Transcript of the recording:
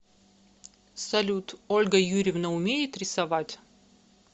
салют ольга юрьевна умеет рисовать